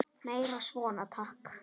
Meira svona, takk!